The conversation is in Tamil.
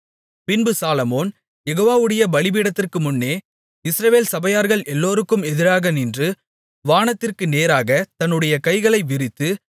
பின்பு சாலொமோன் யெகோவாவுடைய பலிபீடத்திற்குமுன்னே இஸ்ரவேல் சபையார்கள் எல்லோருக்கும் எதிராக நின்று வானத்திற்கு நேராகத் தன்னுடைய கைகளை விரித்து